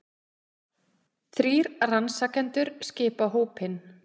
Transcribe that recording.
Þrír rannsakendur skipa hópinn